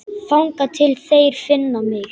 Þangað til þeir finna mig.